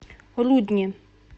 рудни